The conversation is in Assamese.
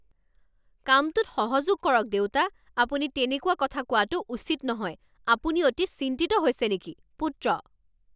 কামটোত সহযোগ কৰক দেউতা। আপুনি তেনেকুৱা কথা কোৱাটো উচিত নহয়। আপুনি অতি চিন্তিত হৈছে নেকি? পুত্ৰ